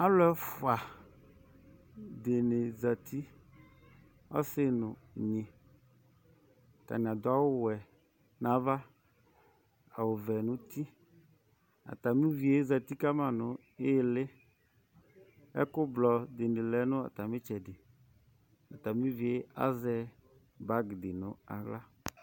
Alu ɛfua dini zati, ɔsi n' únyi, k'atani adu awù wɛ n'ava nu ɔvɛ n'uti, atami uvíe zati kama nu ĩlì, ɛku ublɔ di bi lɛ kama nu itsɛdi, atami uvíe azɛ bagi di n'aɣla